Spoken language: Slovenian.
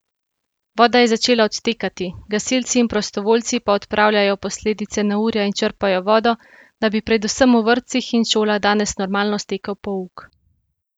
Voda je začela odtekati, gasilci in prostovoljci pa odpravljajo posledice neurja in črpajo vodo, da bi predvsem v vrtcih in šolah danes normalno stekel pouk.